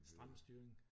Stram styring